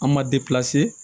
An ma